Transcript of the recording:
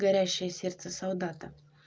горящее сердце солдата